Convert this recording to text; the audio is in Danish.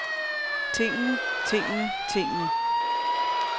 tingene tingene tingene